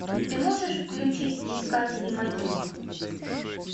ты можешь включить искатели могил